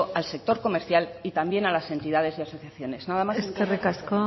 al sector comercial y también a las entidades y asociaciones nada más y muchas gracias